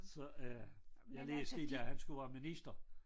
Så øh men det sket at han skulle være minister